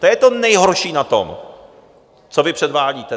To je to nejhorší na tom, co vy předvádíte!